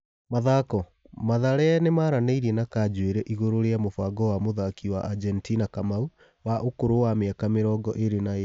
(Mathako) Mathare nĩ maranĩ irie na Kanjuĩ ri igũrũ rĩ a mũbango wa mũthaki wa Ajentina Kamau, wa ũkũrũ wa mĩ aka mĩ rongo ĩ rĩ na ĩ rĩ .